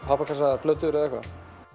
pappakassa eða plötur eða eitthvað